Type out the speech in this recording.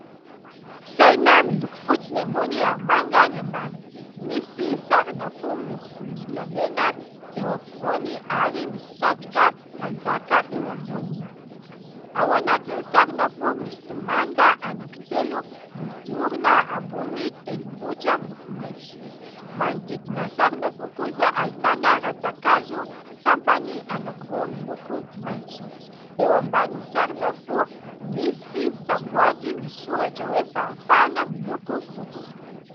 Saina miloko fotsy ny ambony ary manga ny ambany. Misy sarina fo miloko volombolamena eo ampovoany ary misy satroka mpanjaka eo amboniny. Ao anatin'ny sarina fo misy manda anankitelo miorina ambony tendrombohitra miloko maitso. Manodidina sarina fo kosa ahitana rantsan-kazo sampany anankiroa miloko maitso. Eo ambany sarina fo misy samboady misoratra hoe : "fahafahana" miloko fotsy.